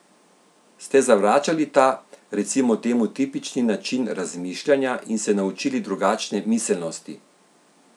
Ste zavračali ta, recimo temu tipični način razmišljanja in se naučili drugačne miselnosti?